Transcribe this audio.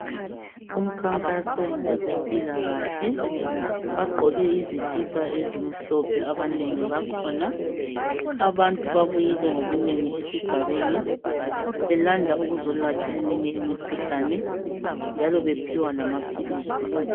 Umkhankaso wezempilakahle bagqoke izikipa ezimhlophe abanengi bakhona abantu babuyile ngobunengi esigabeni belanda ukuzolatshwa eminye imikhuhlane njalo bephiwe lamaphilisi